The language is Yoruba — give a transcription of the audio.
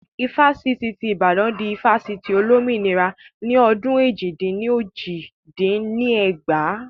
Ifásitì tí Ìbàdàn di Ifásitì Olómìnira ni ọdún èjì-dín-ní-ojì dín ní ẹgbàá